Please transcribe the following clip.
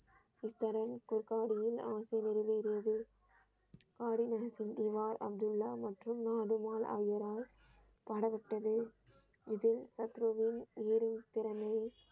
இக்கரன் குற்காடியின் ஆசை நிறைவேறியது ஆறினர் சிந்திவார் அப்துல்லா மற்றும் நாடு போல் ஆகியோரால் பாடப்பட்டத இதில் உயிரின் திறமையை.